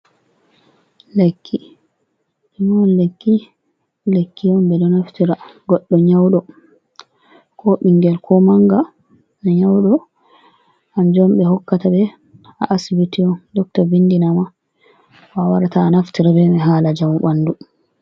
Lekki, nume on lekki lekki on medo naftira goddo nyaudo ko ɓingel ko manga do nyaudo kanjum on be hokkata be ha Asbitii Docto windinama awarata a naftira be man hala njamu ɓandu.